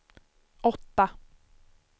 åtta